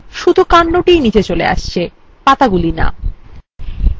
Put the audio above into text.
শুধু কান্ডটিই নিচে চলে আসছে পাতাগুলি না !